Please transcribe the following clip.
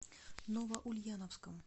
новоульяновском